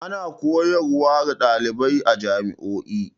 Ana koyar wa ɗalibai a jami'o'i.